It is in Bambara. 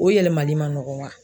O yɛlɛmali ma nɔgɔ wa?